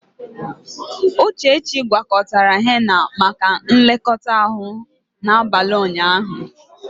Uchechi gwakọtara henna maka nlekọta ahụ n'abalị ụnyaahụ.